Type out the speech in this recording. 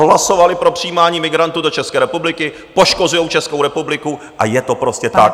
Hlasovali pro přijímání migrantů do České republiky, poškozují Českou republiku a je to prostě tak.